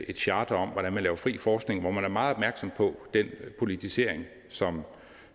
et charter om hvordan man laver fri forskning og hvor man er meget opmærksom på den politisering som